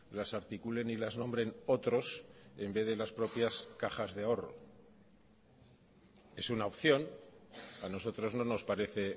las articulen y las nombren otros en vez de las propias cajas de ahorro es una opción a nosotros no nos parece